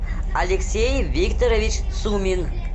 алексей викторович сумин